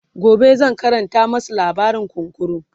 gobe zan Karanta masu labarin kunkuru